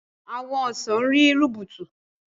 Àwọn ọsàn rí rubutu.